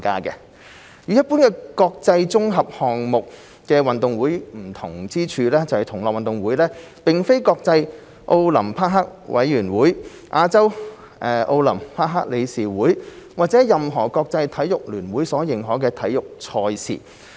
與一般的國際綜合項目運動會不同之處在於，同樂運動會並非國際奧林匹克委員會、亞洲奧林匹克理事會或任何國際體育聯會所認可的體育賽事。